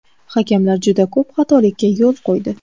Hakamlar juda ko‘p xatolikka yo‘l qo‘ydi.